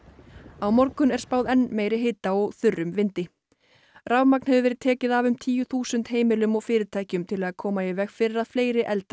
á morgun er spáð enn meiri hita og þurrum vindi rafmagn hefur verið tekið af um tíu þúsund heimilum og fyrirtækjum til að koma í veg fyrir að fleiri eldar